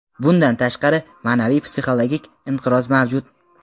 Bundan tashqari, ma’naviy-psixologik inqiroz mavjud.